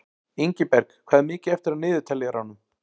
Ingiberg, hvað er mikið eftir af niðurteljaranum?